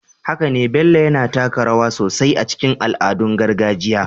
Haka ne, Bello yana taka rawa sosai a cikin al'adun gargajiya